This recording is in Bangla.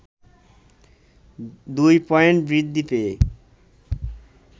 ২ পয়েন্ট বৃদ্ধি পেয়ে